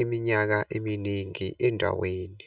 iminyaka eminingi endaweni.